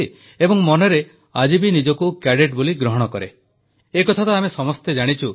ସର୍ବପ୍ରଥମେ ମୁଁ ଏନସିସିର ସମସ୍ତ ପୂର୍ବତନ ଏବଂ ବର୍ତ୍ତମାନର କ୍ୟାଡେଟମାନଙ୍କୁ ଏନସିସି ଦିବସର ଅନେକ ଅନେକ ଶୁଭେଚ୍ଛା ଜଣାଉଛି